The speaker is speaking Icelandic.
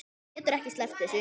Þú getur ekki sleppt þessu.